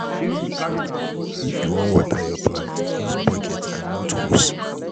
if you wan water yur plant, use bucket and not hose